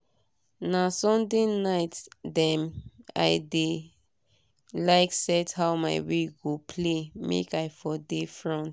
na sunday night dem i dey like set how my week go play make i for dey front